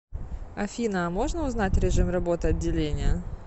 афина а можно узнать режим работы отделения